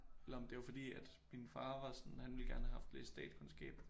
Eller om det var fordi at min far var sådan han ville gerne have haft læst statskundskab